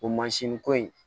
O ko in